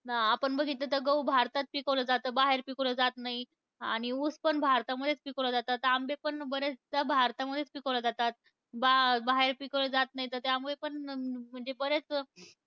अं आपण बघितलं तर गहू भारतात पिकवलं जातं. बाहेर पिकवलं जात नाही. आणि ऊस पण भारतामध्येच पिकवलं जातं. आत आंबे पण बरेचदा भारतामध्येच पिकवले जातात. बा बाहेर पिकवले जात नाहीत. तर त्यामुळे पण, अं म्हणजे बरेच